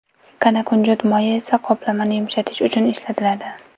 Kanakunjut moyi esa qoplamani yumshatish uchun ishlatiladi.